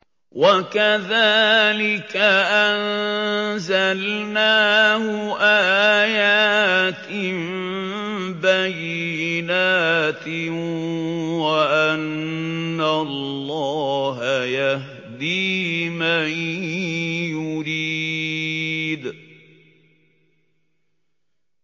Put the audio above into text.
وَكَذَٰلِكَ أَنزَلْنَاهُ آيَاتٍ بَيِّنَاتٍ وَأَنَّ اللَّهَ يَهْدِي مَن يُرِيدُ